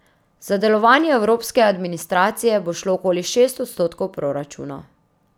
Za delovanje evropske administracije bo šlo okoli šest odstotkov proračuna.